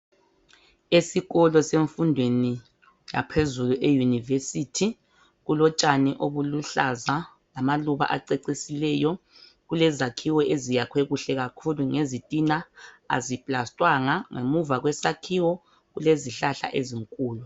Esikolo semfundweni yaphezulu eYunivesithi kulotshani obuluhlaza lamaluba acecisileyo. Kulezakhiwo ezakhiwe kuhle kakhulu ngezitina aziplastwanga. Ngemuva kwesakhiwo kulezihlahla ezinkulu.